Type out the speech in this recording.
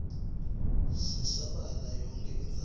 sisabalala yonkhe indzawo